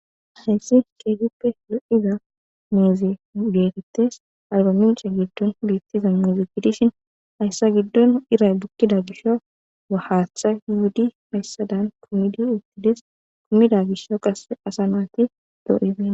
hayssi kehippe lo'iza muze geetettes ariba mince giddon biittiza muzet dishin hayssa giddon iray bukkida gisho haathay yuudi mayssadan kumidi uostides kumida gisho qasse asa nati do'ibena